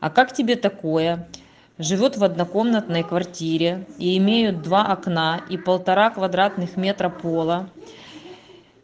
а как тебе такое живёт в однокомнатной квартире и имеют два окна и полтора квадратных метра пола